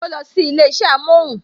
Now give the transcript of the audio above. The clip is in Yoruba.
O losi ilé isẹ amohun